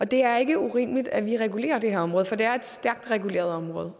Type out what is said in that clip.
det er ikke urimeligt at vi regulerer det her område for det er et stærkt reguleret område